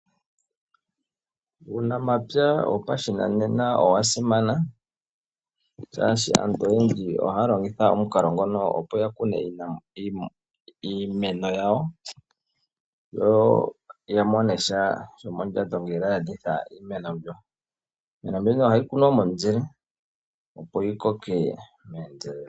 Uunamapya wopashinanena owa simana, shaashi aantu oyendji oha ya longitha omukalo ngono opo ya kune iimeno yawo, yo ya monesha shomondjato ngele ya landitha iimeno mbyo. Iimeno mbino oha yi kunwa momuzile opo yi koke meendelelo.